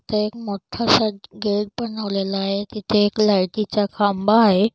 तिथे एक मोठासा गेट बनवलेला आहे तीथे एक लाइटीचा खांबा आहे.